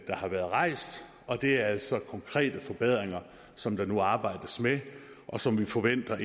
har været rejst og det er altså konkrete forbedringer som der nu arbejdes med og som vi forventer